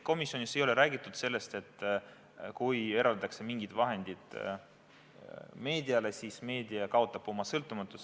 Komisjonis ei ole räägitud sellest, et kui eraldatakse mingid vahendid meediale, siis meedia kaotab oma sõltumatuse.